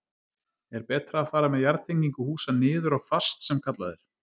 Er betra að fara með jarðtengingu húsa niður á fast sem kallað er?